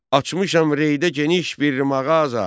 Açmışam Reydə geniş bir mağaza.